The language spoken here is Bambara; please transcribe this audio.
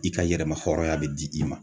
I ka yɛrɛma hɔrɔnya be di i ma